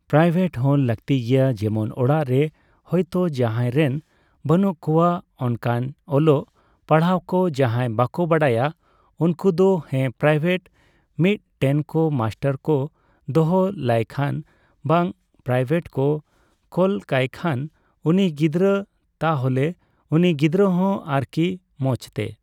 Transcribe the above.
private ᱦᱚ ᱞᱟᱠᱛᱤ ᱜᱮᱭᱟ ᱡᱮᱢᱚᱱ ᱚᱲᱟᱜᱨᱮ ᱦᱚᱭᱛᱚ ᱡᱟᱦᱟᱸᱭ ᱨᱮᱱ ᱵᱟᱹᱱᱩᱜ ᱠᱚᱣᱟ ᱚᱱᱠᱟᱱ ᱚᱞᱚᱜ ᱯᱟᱲᱦᱟᱜᱠᱚ ᱡᱟᱦᱟᱸᱭ ᱵᱟᱠᱚ ᱵᱟᱰᱟᱭᱟ ᱩᱱᱠᱩᱫᱚ ᱦᱮᱸ ᱯᱨᱟᱭᱵᱷᱮᱴ ᱢᱤᱫ ᱴᱮᱱᱠᱚ ᱢᱟᱥᱴᱟᱨᱠᱚ ᱫᱚᱦᱚ ᱞᱟᱭᱠᱷᱟᱱ ᱵᱟ ᱯᱨᱟᱭᱵᱷᱮᱴ ᱠᱚ ᱠᱳᱞᱠᱟᱭᱠᱷᱟᱱ ᱩᱱᱤ ᱜᱤᱫᱽᱨᱟᱹ ᱛᱟᱦᱚᱞᱮ ᱩᱱᱤ ᱜᱤᱫᱽᱨᱟᱹᱦᱚᱸ ᱟᱨᱠᱤ ᱢᱚᱪᱛᱮ